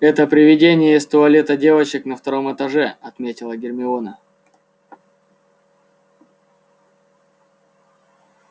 это привидение из туалета девочек на втором этаже отметила гермиона